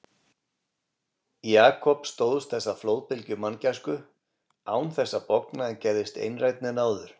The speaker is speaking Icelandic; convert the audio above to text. Jakob stóðst þessa flóðbylgju manngæsku án þess að bogna en gerðist einrænni en áður.